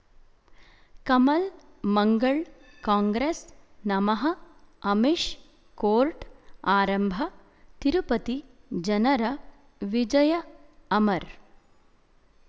ಕಮಲ್ ಮಂಗಳ್ ಕಾಂಗ್ರೆಸ್ ನಮಃ ಅಮಿಷ್ ಕೋರ್ಟ್ ಆರಂಭ ತಿರುಪತಿ ಜನರ ವಿಜಯ ಅಮರ್